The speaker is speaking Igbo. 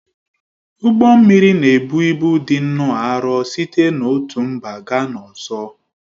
Ụgbọ mmiri na-ebu ịbụ dị nnọọ arọ site n'otu mba gaa n'ọzọ